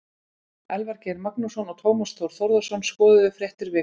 Elvar Geir Magnússon og Tómas Þór Þórðarson skoðuðu fréttir vikunnar.